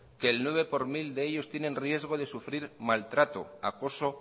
que el nueve por ciento de ellos tienen riesgo de sufrir maltrato acoso